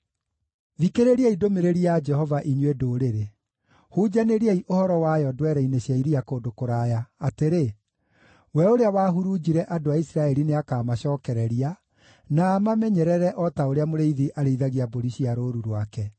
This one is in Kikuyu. “Thikĩrĩriai ndũmĩrĩri ya Jehova, inyuĩ ndũrĩrĩ; hunjanĩriai ũhoro wayo ndwere-inĩ cia iria kũndũ kũraya, atĩrĩ: ‘We ũrĩa wahurunjire andũ a Isiraeli nĩakamacookereria, na amamenyerere o ta ũrĩa mũrĩithi arĩithagia mbũri cia rũũru rwake.’